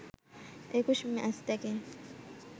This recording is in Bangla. ২১ ম্যাচ থেকে